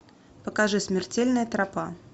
покажи смертельная тропа